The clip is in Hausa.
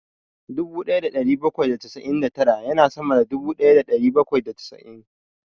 Dubu ɗaya da ɗari bakwai da casa'in da tara ya na sama da dubu ɗaya da ɗari bakwai da casa'in